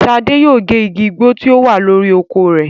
Ṣadé yóò gé Igbo tí ó wà lórí oko rẹ̀.